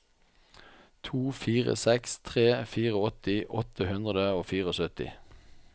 to fire seks tre åttifire åtte hundre og syttifire